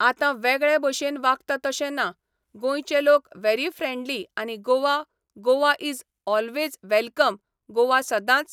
आतां वेगळे बशेन वागता तशें ना. गोंयचे लोक वेरी फ्रेंडली आनी Goa Goa is always welcome Goa सदांच